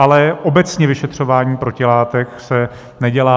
Ale obecně vyšetřování protilátek se nedělá.